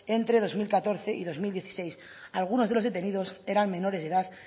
entre dos mil catorce y dos mil dieciséis algunos de los detenidos eran menores de edad